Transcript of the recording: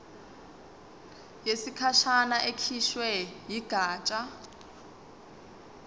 yesikhashana ekhishwe yigatsha